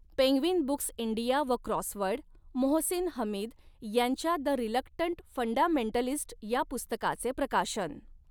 Penguin Books India व Crossword Mohsin Hamid यांच्या the reluctant fundamentalist' या पुस्तकाचे प्रकाशन.